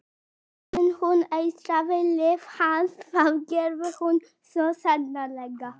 En hún eitraði líf hans, það gerði hún svo sannarlega.